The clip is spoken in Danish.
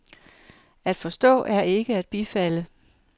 At forstå er ikke at bifalde.